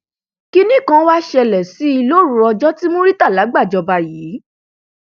kínní kan wàá ṣẹlẹ sí i lóru ọjọ tí murità gbàjọba yìí